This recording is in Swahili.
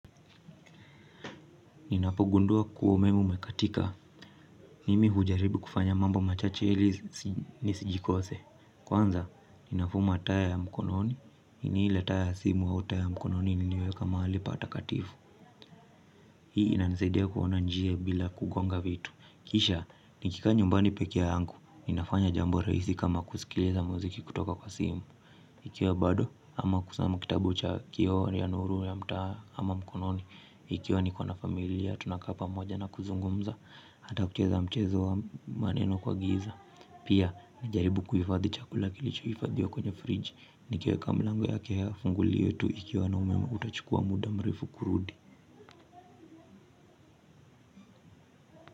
Ninapogundua kuwa umeme umekatika, mimi hujaribu kufanya mambo machache ili nisijikose. Kwanza, ninafuma taa ya mkononi, ini ile taa ya simu au taa ya mkononi niniweka mahali pa takatifu. Hii inanisaidia kuona njia bila kugonga vitu. Kisha, nikikaa nyumbani pekee yangu, ninafanya jambo rahisi kama kusikiliza muziki kutoka kwa simu. Ikiwa bado ama kusoma kitabu cha kioo ya nuru ya mtaa ama mkononi ikiwa niko na familia tunakaa pamoja na kuzungumza. Hata kucheza mchezo wa maneno kwa giza. Pia nijaribu kuhifadhi chakula kilichohifadhiwa kwenye fridge. Nikiweka mlango yake ya funguli yetu ikiwa na umeme utachukua muda mrefu kurudi.